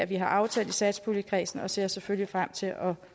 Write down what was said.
vi har aftalt i satspuljekredsen og ser selvfølgelig frem til at